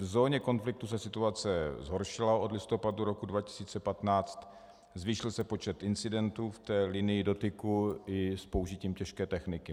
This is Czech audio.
V zóně konfliktu se situace zhoršila od listopadu roku 2015, zvýšil se počet incidentů v té linii dotyku i s použitím těžké techniky.